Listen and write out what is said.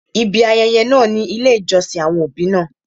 Ibi ayẹyẹ náà ni ilé ìjọsìn àwọn òbí náà.